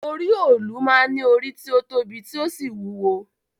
Orí òòlù máa ń ní orí tí ó tóbi tí ó sì wúwo